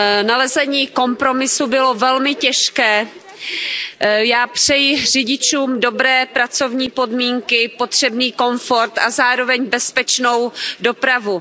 Nalezení kompromisu bylo velmi těžké. Já přeji řidičům dobré pracovní podmínky, potřebný komfort a zároveň bezpečnou dopravu.